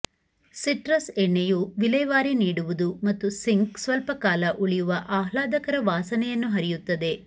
citrus ಎಣ್ಣೆಯು ವಿಲೇವಾರಿ ನೀಡುವುದು ಮತ್ತು ಸಿಂಕ್ ಸ್ವಲ್ಪಕಾಲ ಉಳಿಯುವ ಆಹ್ಲಾದಕರ ವಾಸನೆಯನ್ನು ಹರಿಯುತ್ತದೆ